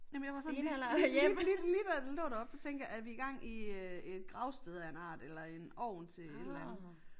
Jamen jeg var sådan lige lige lige lige lige da den lå deroppe der tænkte jeg er vi gang i øh et gravsted af en art eller en ovn til et eller andet